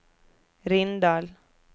Rindal